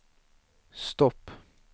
stopp